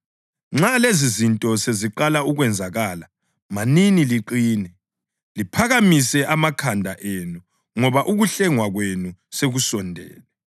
Nxa lezizinto seziqala ukwenzakala manini liqine, liphakamise amakhanda enu, ngoba ukuhlengwa kwenu sekusondela.”